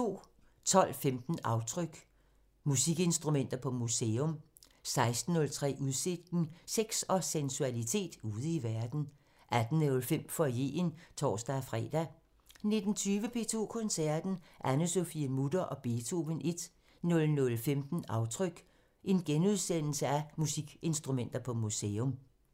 12:15: Aftryk – Musikinstrumenter på museum 16:05: Udsigten – Sex og sensualitet ude i verden 18:05: Foyeren (tor-fre) 19:20: P2 Koncerten – Anne-Sophie Mutter og Beethoven I 00:15: Aftryk – Musikinstrumenter på museum *